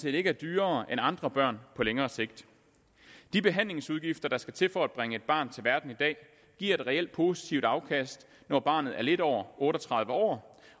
ikke er dyrere end andre børn på længere sigt de behandlingsudgifter der skal til for at bringe et barn til verden i dag giver et reelt positivt afkast når barnet er lidt over otte og tredive år